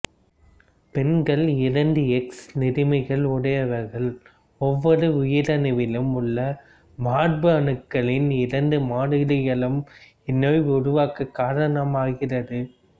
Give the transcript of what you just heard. பெண்களில் இரண்டு எக்ஸ் நிறமிகளை உடையவர்கள் ஒவ்வொரு உயிரணுவிலும் உள்ள மரபணுக்களின் இரண்டு மாதிரிகளும் இந்நோயை உருவாக்க காரணமாகிறது